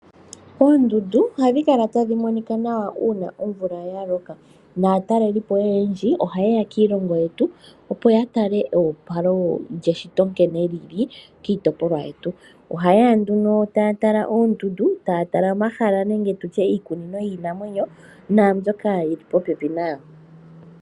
Oondundu ohadhi kala tadhi monika nawa uuna omvula yaloka naatalelipo oyendji oha yeya kiilongo yetu opo ya tale eopalo lyeshito nkene lyili, taya tala oondundu niikunino yinamwenyo.